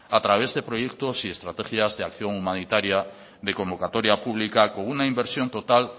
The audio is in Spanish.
a través de proyectos y estrategias de acción humanitaria de convocatoria pública con una inversión total